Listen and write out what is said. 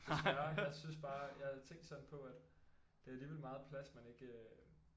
Desværre jeg synes bare jeg havde tænkt sådan på at det er alligevel meget plads man ikke